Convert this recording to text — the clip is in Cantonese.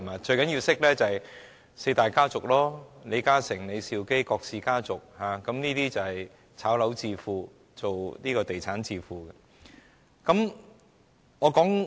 最重要的是要認識四大家族，即李嘉誠、李兆基和郭氏家族等，他們都是"炒樓"和從事地產致富的。